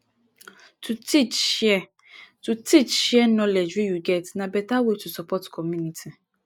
to teach share to teach share knowledge wey you get na beta way to support community